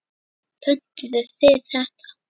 Pöntuðu þið þetta?